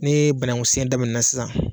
Nii banaŋusen daminɛna sisan